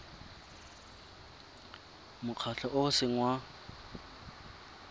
mokgatlho o o seng wa